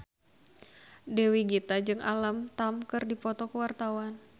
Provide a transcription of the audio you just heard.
Dewi Gita jeung Alam Tam keur dipoto ku wartawan